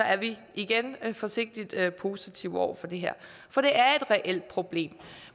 er vi igen forsigtigt positive over for det her for det er et reelt problem